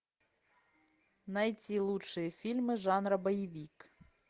найти лучшие фильмы жанра боевик